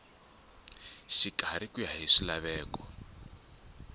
xikarhi ku ya hi swilaveko